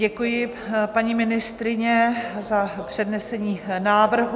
Děkuji, paní ministryně, za přednesení návrhu.